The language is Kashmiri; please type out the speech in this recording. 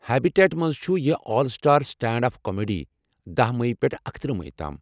ہیبِٹیٹس مَنٛز چھُ یہِ 'all star stand up comedy' دہَ مٔیی پٮ۪ٹھہٕ اکتٕرہ میٔی تام